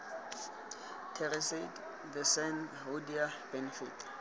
terasete the san hoodia benefit